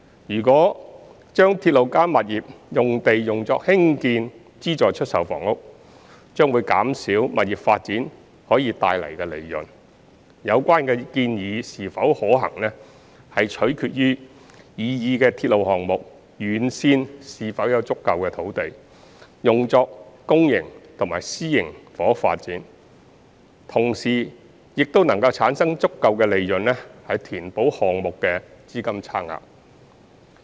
如果將"鐵路加物業"用地用作興建資助出售房屋，將減少物業發展可帶來的利潤，有關建議是否可行，取決於擬議的鐵路項目沿線是否有足夠土地用作公營及私營房屋發展，同時又能產生足夠利潤填補項目資金差額。